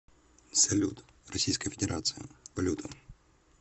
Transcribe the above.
салют российская федерация валюта